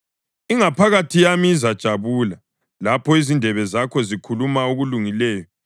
ingaphakathi yami izajabula lapho izindebe zakho zikhuluma okulungileyo.